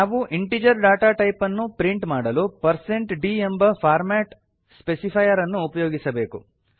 ನಾವು integer data type ಅನ್ನು print ಮಾಡಲು ಪರ್ಸಂಟ್ d ದ್ ಎಂಬ ಫಾರ್ಮಾಟ್ ಸ್ಪೆಸಿಫೈರ್ ಅನ್ನು ಉಪಯೋಗಿಸಬೇಕು